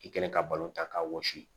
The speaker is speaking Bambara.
I kɛlen ka balon ta k'a wɔsi